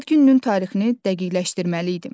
Ad gününün tarixini dəqiqləşdirməliydim.